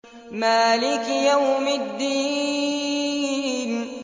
مَالِكِ يَوْمِ الدِّينِ